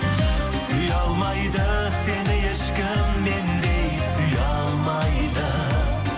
сүйе алмайды сені ешкім мендей сүйе алмайды